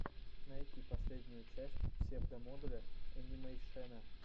найти последнюю часть псевдомодуля энимэйшена